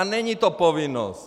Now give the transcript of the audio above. A není to povinnost!